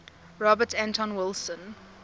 robert anton wilson